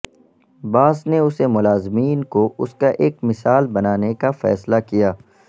باس نے اسے ملازمین کو اس کا ایک مثال بنانے کا فیصلہ کیا